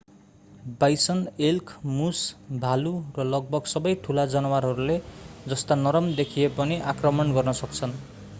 bison elk moose भालु र लगभग सबै ठूला जनावरहरूले जस्ता नरम देखिए पनि आक्रमण गर्न सक्छन्